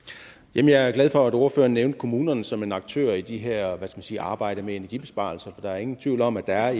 jamen jeg er glad for at ordføreren nævnte kommunerne som en aktør i det her hvad skal man sige arbejde med energibesparelser der er ingen tvivl om at der